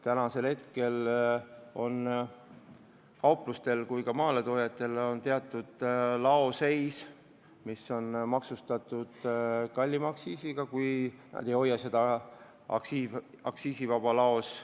Praegu on nii kauplustel kui ka maaletoojatel laos kaup, mis on maksustatud kallima aktsiisiga, nad ei hoia seda laos, kus kehtib aktsiisivabastus.